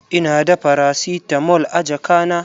Ina da faracitamol a jaka na.